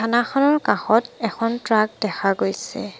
থানাখনৰ কাষত এখন ট্ৰাক দেখা গৈছে।